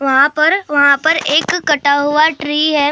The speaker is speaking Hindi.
वहाँ पर वहाँ पर एक कटा हुआ ट्री है।